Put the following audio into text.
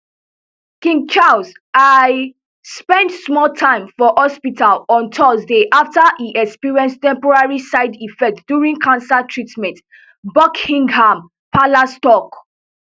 king charles iii spend small time for hospital on thursday afta e experience temporary side effects during cancer treatment buckingham palace tok